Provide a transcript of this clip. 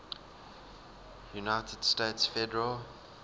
united states federal